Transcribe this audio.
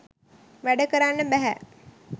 වැඩ කරන්න බැහැ